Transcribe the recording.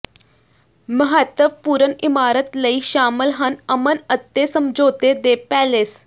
ਮਹੱਤਵਪੂਰਨ ਇਮਾਰਤ ਲਈ ਸ਼ਾਮਲ ਹਨ ਅਮਨ ਅਤੇ ਸਮਝੌਤੇ ਦੇ ਪੈਲੇਸ